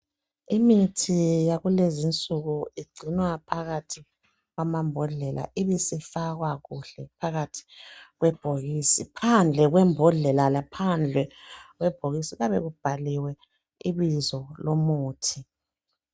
Imithi yakulezi insuku igcinwa phakathi kwamambodlela ibisifakwa kuhle phakathi kwebhokisi. Phandle kwembodlela laphandle kwebhokisi kuyabe kubhaliwe ibizo lomuthi.